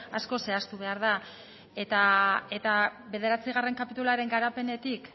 asko zehaztu behar da eta bederatzigarren kapituluaren garapenetik